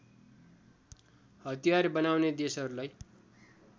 हतियार बनाउने देशहरूलाई